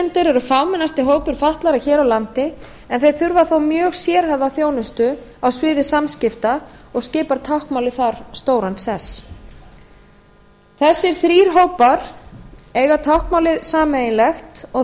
daufblindir er fámennasti hópur fatlaðra hér á landi en þeir þurfa þó mjög sérhæfða þjónustu á sviði samskipta og skipar táknmálið þar stóran sess þessir þrír hópar eiga táknmálið sameiginlegt og